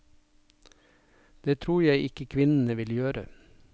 Det tror jeg ikke kvinnene vil gjøre.